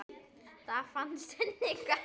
Það fannst henni gaman.